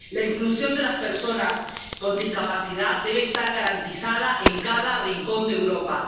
La inclusión de las personas con discapacidad debe estar garantizada en cada rincón de Europa.